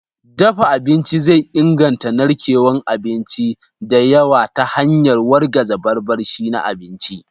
Dafa abinci zai inganta narkewar abinci da yawa ta hanyar wargaza barbashi na abinci.